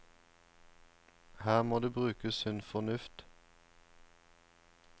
Her må det brukes sunn fornuft.